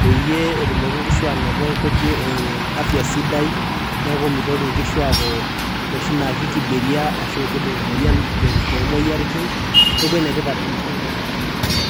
peyie etumoki nkishu anoto nkujit ee afya sidai , neeku mitoki nkishu aaku inoshi naake kibiria ashu kibung' emoyian to moyiaritin neeku ene tipat ena siai te nkop ang' oleng'.